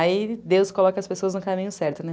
Aí Deus coloca as pessoas no caminho certo, né?